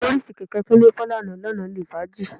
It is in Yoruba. Bọ́ríìsì kẹ̀kẹ́ Kúnlé fọ́ lánàá lọ́nà ilé fàájì